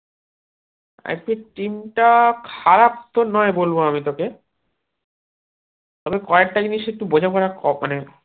এর যে team টা খারাপতো নয় বলবো আমি তোকে তবে কয়েকটা জিনিস একটু বোঝাপড়া